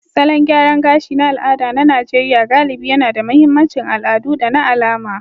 Salon gyaran gashi na al'ada na Najeriya galibi yAna da mahimmancin al'adu da na alama